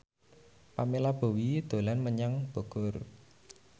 Pamela Bowie dolan menyang Bogor